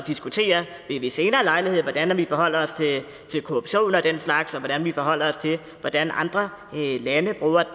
diskutere ved senere lejlighed hvordan vi forholder os til korruption og den slags og hvordan vi forholder os til hvordan andre lande bruger